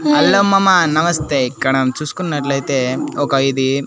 Hello మామ నమస్తే ఇక్కడ చూసుకున్నట్లయితే ఒక ఇది.